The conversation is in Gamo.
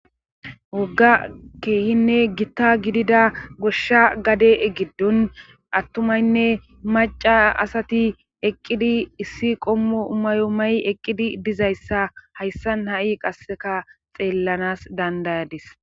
wogga keehinne gitta gidida goshsha gade giddon attumaynne maca asati eqqidi issi qommo mayo mayi eqqidi dizayssa hayssan ha'i qasseka xeellanas dandayadis.